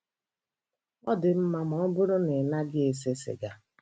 "Ọ dị mma ma ọ bụrụ na ị naghị ese sịga.